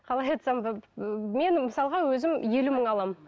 қалай айтсам мен мысалға өзім елу мың аламын